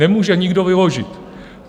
Nemůže nikdo vyložit.